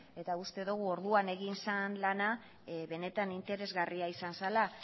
eta uste dugu orduan egin zen lana benetan interesgarria izan zela